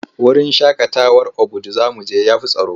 Wurin shaƙatawar Obudu za mu je ya fi tsaro.